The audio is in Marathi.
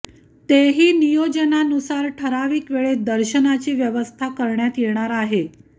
तेही नियोजनानुसार ठराविक वेळेत दर्शनाची व्यवस्था करण्यात येणार आहे